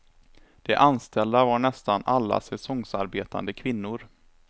De anställda var nästan alla säsongsarbetande kvinnor.